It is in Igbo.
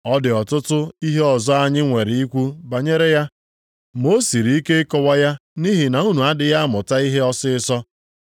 Ọ dị ọtụtụ ihe ọzọ anyị nwere ikwu banyere ya, ma o siri ike ịkọwa ya nʼihi na unu adịghị amụta ihe ọsịịsọ.